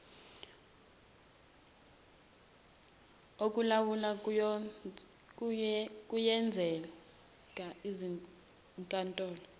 okulawula kuyenzeka izinkantolo